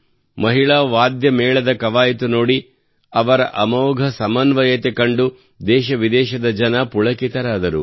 ಮಹಿಳಾ ವಾದ್ಯಮೇಳದ ಕವಾಯತು ನೋಡಿ ಅವರ ಅಮೋಘ ಸಮನ್ವಯತೆ ಕಂಡು ದೇಶವಿದೇಶದ ಜನರು ಪುಳಕಿತರಾದರು